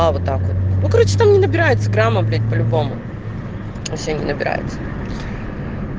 а вот так вот ну короче там не набирается грамма блять по-любому вообще не набирается